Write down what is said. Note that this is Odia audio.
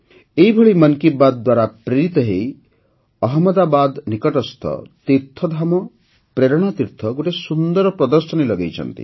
ଏହିଭଳି ମନ୍ କି ବାତ୍ ଦ୍ୱାରା ପ୍ରେରିତ ହୋଇ ଅହମ୍ମଦାବାଦ ନିକଟସ୍ଥ ତୀର୍ଥଧାମ ପ୍ରେରଣାତୀର୍ଥ ଗୋଟିଏ ସୁନ୍ଦର ପ୍ରଦର୍ଶନୀ ଲଗାଇଛନ୍ତି